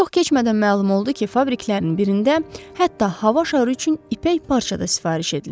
Çox keçmədən məlum oldu ki, fabriklərinin birində hətta hava şarı üçün ipək parça da sifariş edilib.